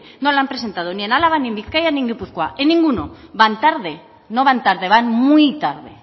no lo han presentado ni en álava ni en bizkaia ni en gipuzkoa en ninguno van tarde no van tarde van muy tarde